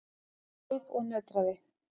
Hún skalf og nötraði.